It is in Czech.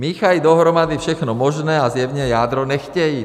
Míchají dohromady všechno možné a zjevně jádro nechtějí.